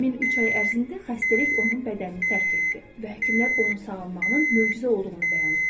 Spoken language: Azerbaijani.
Həmin üç ay ərzində xəstəlik onun bədənini tərk etdi və həkimlər onun sağalmağının möcüzə olduğunu bəyan etdilər.